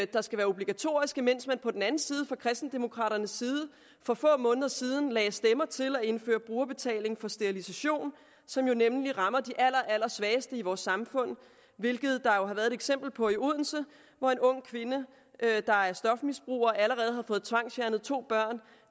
der skal være obligatoriske mens man på den anden side fra kristendemokraternes side for få måneder siden lagde stemmer til at indføre brugerbetaling på sterilisation som jo netop rammer de allerallersvageste i vores samfund hvilket der jo har været et eksempel på i odense hvor en ung kvinde der er stofmisbruger og allerede har fået tvangsfjernet to børn